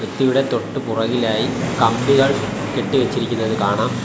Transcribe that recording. ഇവിടെ തൊട്ടു പുറകിലായി കമ്പികൾ കെട്ടി വെച്ചിരിക്കുന്നത് കാണാം.